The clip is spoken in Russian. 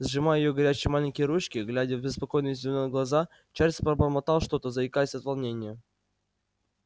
сжимая её горячие маленькие ручки глядя в беспокойные зелёные глаза чарлз пробормотал что-то заикаясь от волнения